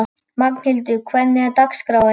Magnhildur, hvernig er dagskráin?